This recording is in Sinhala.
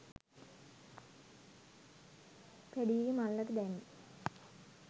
පැඞීගෙ මල්ලට දැම්මෙ